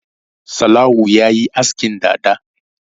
Sallau ya yi askin dada.